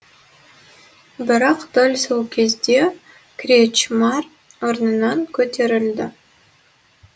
бірақ дәл сол кезде кречмар орнынан көтерілді